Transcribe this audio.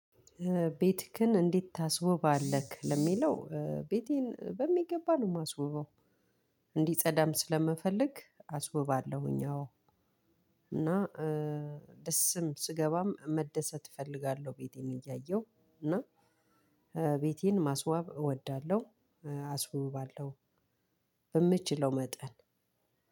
ቤትክን እንዴት ታስውባለህ? ለሚለው ቤቴን በሚገባ ነው የማስውባው እንዲፀደም ስለምፈልግ አስውባለሁኝ። አዎ እና ደስም ስገባም መደሰት እፈልጋለሁ። ቤቴን እያየሁ እና ቤቴን ማስዋብ እወዳለሁ። አስውባለሁ በምችለው መጠን።